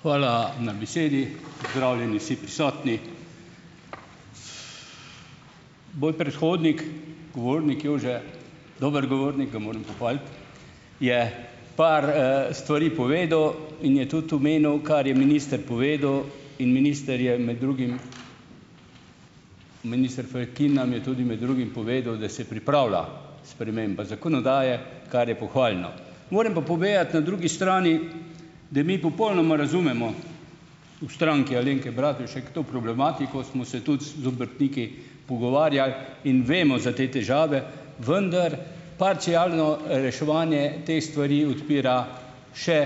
Hvala na besedi, pozdravljeni vsi prisotni. Moj predhodnik, govornik Jože, dober govornik, ga moram pohvaliti, je par, stvari povedal in je tudi omenil, kar je minister povedal in minister je med drugim minister Fakin nam je tudi med drugim povedal, da se pripravlja sprememba zakonodaje, kar je pohvalno. Moram pa povedati na drugi strani, da mi popolnoma razumemo v Stranki Alenke Bratušek to problematiko, smo se tudi s z obrtniki pogovarjali in vemo za te težave, vendar parcialno reševanje teh stvari odpira še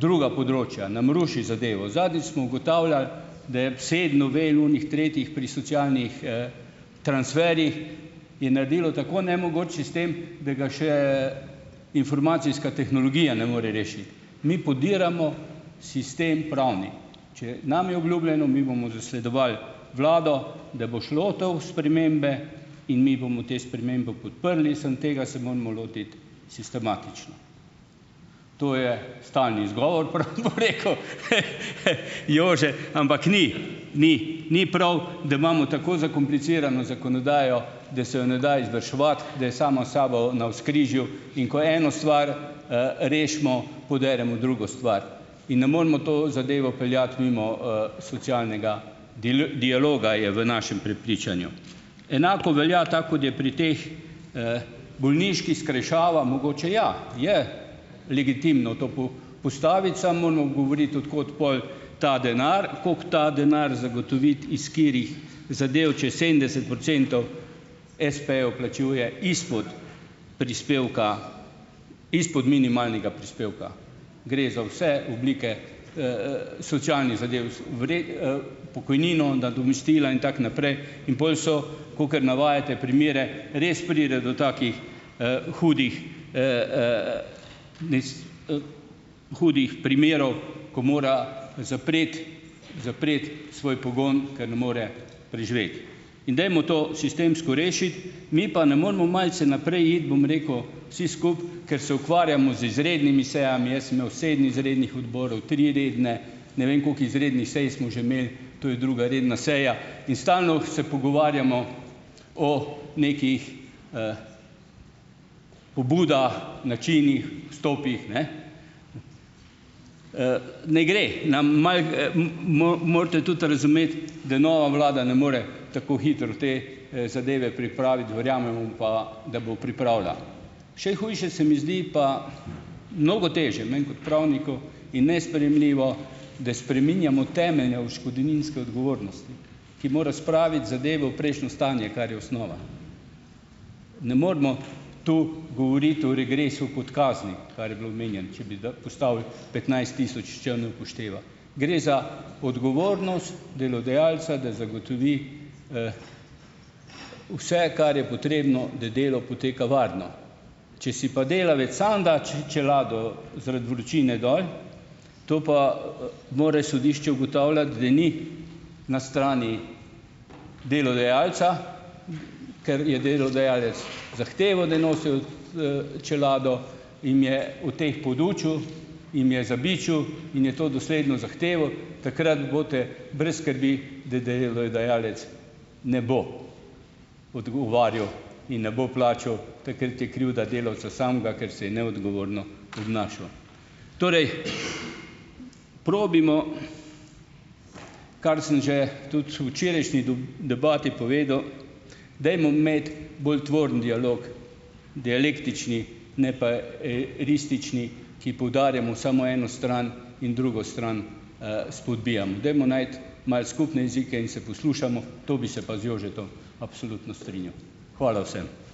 druga področja, nam ruši zadevo. Zadnjič smo ugotavljali, tretjih pri socialnih, transferih je naredilo tako nemogoč sistem, da ga še informacijska tehnologija ne more rešiti. Mi podiramo sistem pravni. Če nam je obljubljeno, mi bomo zasledovali vlado, da bo šla to v spremembe, in mi bomo te spremembe podprli, samo tega se moramo lotiti sistematično. To je stalni izgovor, ampak ni. Ni. Ni prav, da imamo tako zakomplicirano zakonodajo, da se jo ne da izvrševati, da je sama s sabo navzkrižju, in ko eno stvar, rešimo, poderemo drugo stvar in ne moremo to zadevo peljati mimo, socialnega dialoga, je v našem prepričanju. Enako velja, tako kot je pri teh bolniških, skrajšava mogoče, ja. Je legitimno to postaviti, samo moramo govoriti, od kod pol ta denar, koliko ta denar zagotoviti, iz katerih zadev, če sedemdeset procentov espejev plačuje izpod prispevka. Izpod minimalnega prispevka. Gre za vse oblike, socialnih zadev, pokojnino, nadomestila, in tako naprej, in pol so, kakor navajate primere, res pride do takih, hudih, hudih primerov, ko mora zapreti zapreti svoj pogon, ker ne more preživeti. In dajmo to sistemsko rešiti. Mi pa ne moremo malce naprej iti, bom rekel, vsi skupaj, ker se ukvarjamo z izrednimi sejami. Jaz sem imel sedem izrednih odborov, tri redne, ne vem, koliko izrednih sej smo že imeli, to je druga redna seja in stalno se pogovarjamo o nekih pobudah, načinih, stopih, ne. Ne gre. Nam malo, morate tudi razumeti, da nova vlada ne more tako hitro te, zadeve pripraviti, verjamemo pa, da bo pripravila. Še hujše se mi zdi pa, mnogo težje meni, kot pravniku in nesprejemljivo, da spreminjamo temelje odškodninske odgovornosti, ki mora spraviti zadevo v prejšnjo stanje, kar je osnova. Ne moremo tu govoriti o regresu kot kazni, kar je bilo omenjeno, če bi postavili petnajst tisoč, če ne upošteva. Gre za odgovornost delodajalca, da zagotovi vse, kar je potrebno, da delo poteka varno. Če si pa delavec sam da čelado zaradi vročine dol, to pa, mora sodišče ugotavljati, da ni na strani delodajalca, ker je delodajalec zahtevo, da nosijo, čelado, jim je o teh podučil, jim je zabičal, in je to dosledno zahteval, takrat boste brez skrbi, da delodajalec ne bo odgovarjal in ne bo plačal, takrat je krivda delavca samega, ker se je neodgovorno obnašal. Torej, probajmo, kar sem že tudi včerajšnji debati povedal, dajmo imeti bolj tvoren dialog, dialektični ne pa, ristični, ki poudarjamo samo eno stran in drugo stran, spodbijam. Dajmo najti malo skupne jezike in se poslušamo, to bi se pa z Jožetom absolutno strinjal. Hvala vsem.